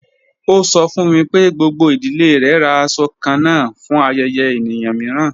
Ọ sọ̀ fún mi pé gbogbo idílé rè rá àṣọ̀ kànán fún ayẹ̀yẹ̀ èníyàn miìràn.